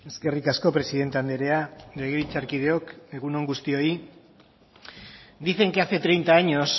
eskerrik asko presidente andrea legebiltzarkideok egun on guztioi dicen que hace treinta años